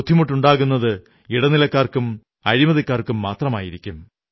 ബുദ്ധിമുണ്ടാകുന്നത് ഇടനിലക്കാർക്കും അഴിമതിക്കാർക്കുമാകും